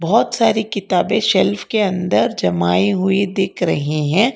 बहुत सारी किताबें शेल्फ के अंदर जमाई हुई दिख रही हैं।